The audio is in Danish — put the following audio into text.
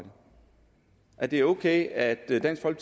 og at det er okay at dansk